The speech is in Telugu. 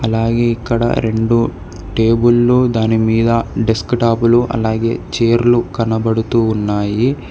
అలాగే ఇక్కడ రెండు టేబుల్లు దానిమీద డేస్కుటాపులు అలాగే చీరలు కనబడుతూ ఉన్నాయి.